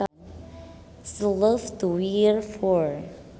She loved to wear fur